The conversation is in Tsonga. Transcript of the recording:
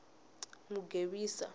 mugevisa